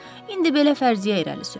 İndi belə fərziyyə irəli sürək.